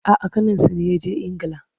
A'a, ƙaninsu ne ya je Ingila.